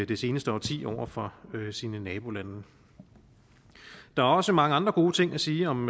det seneste årti over for sine nabolande der er også mange andre gode ting at sige om